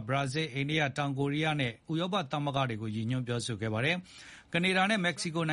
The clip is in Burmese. ဘရာဇီးလ်၊ အိန္ဒိယ၊ တောင်ကိုရီးယားနဲ့ ဥရောပသမဂ္ဂတို့အေပါ် ရည်ညွှန်းပြောကြားခဲ့တာလည်း ဖြစ်ပါတယ်။ မက္ကဆီကိုန